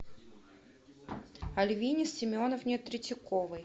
альвине семеновне третьяковой